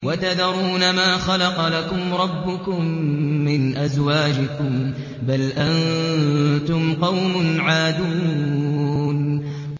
وَتَذَرُونَ مَا خَلَقَ لَكُمْ رَبُّكُم مِّنْ أَزْوَاجِكُم ۚ بَلْ أَنتُمْ قَوْمٌ عَادُونَ